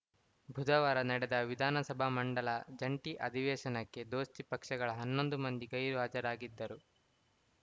ಬುಧವಾರ ನಡೆದ ವಿಧಾನಸಭ ಮಂಡಲ ಜಂಟಿ ಅಧಿವೇಶನಕ್ಕೆ ದೋಸ್ತಿ ಪಕ್ಷಗಳ ಹನ್ನೊಂದು ಮಂದಿ ಗೈರು ಹಾಜರಾಗಿದ್ದರು